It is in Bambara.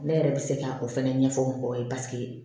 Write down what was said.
Ne yɛrɛ bɛ se ka o fɛnɛ ɲɛfɔ mɔgɔw ye paseke